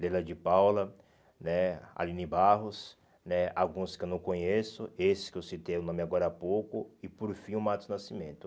Leila de Paula né, Aline Barros né, alguns que eu não conheço, esse que eu citei o nome agora há pouco, e por fim o Matos Nascimento.